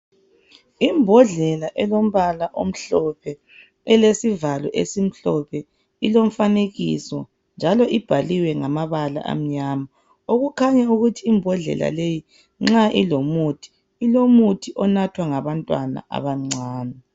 Imbodlela elombala omhlophe elesivalo esimhlophe ilomfanekiso njalo ibhaliwe ngamabala amnyama. Okukhanya ukuthi imbodlela leyi nxa ilomuthi ,ilomuthi onathwa ngabantwana abancani.